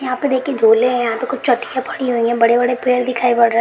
यहाॅं पे देखिए झूले है यहाॅं पे कुछ पड़ी हुई है बड़े-बड़े पेड़ दिखाई पड़ रहे।